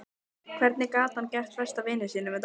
Hvernig gat hann gert besta vini sínum þetta?